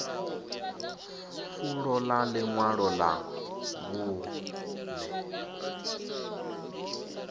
fulo ḽa ḽiṅwalo ḽa vhuṅe